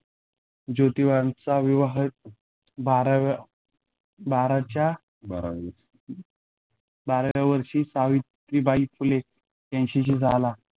जोतीबांचा विवाह बाराव्या बाराच्य़ा बाराव्या वर्षी सावित्रीबाई फुले यांच्याशी झाला.